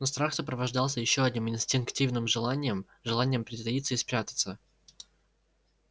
но страх сопровождался ещё одним инстинктивным желанием желанием притаиться и спрятаться